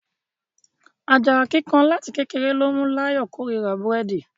Ajara kíkan láti kékeré ló mú l'ayọ kò rírà Búrẹ́di.